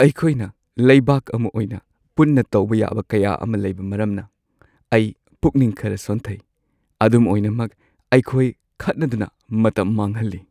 ꯑꯩꯈꯣꯏꯅ ꯂꯩꯕꯥꯛ ꯑꯃ ꯑꯣꯏꯅ ꯄꯨꯟꯅ ꯇꯧꯕ ꯌꯥꯕ ꯀꯌꯥ ꯑꯃ ꯂꯩꯕ ꯃꯔꯝꯅ ꯑꯩ ꯄꯨꯛꯅꯤꯡ ꯈꯔ ꯁꯣꯟꯊꯩ, ꯑꯗꯨꯝ ꯑꯣꯏꯅꯃꯛ ꯑꯩꯈꯣꯏ ꯈꯠꯅꯗꯨꯅ ꯃꯇꯝ ꯃꯥꯡꯍꯟꯂꯤ ꯫